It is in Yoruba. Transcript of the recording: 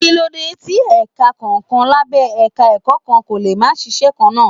Kí ló dé tí ẹ̀ka kọ̀ọ̀kan lábẹ́ Ẹ̀ka-ẹ̀kọ́ kan kò lè máa ṣiṣẹ́ kan náà.